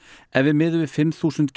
ef við miðum við fimm þúsund